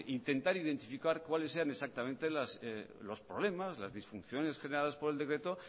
intentar identificar cuáles eran exactamente los problemas las disfunciones generadas por el decreto